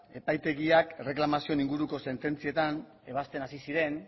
epaitegiak erreklamazioen inguruko sententzietan ebazten hasi ziren